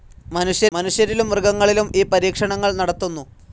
മനുഷ്യരിലും മൃഗങ്ങളിലും ഈ പരീക്ഷണങ്ങൾ നടത്തുന്നു.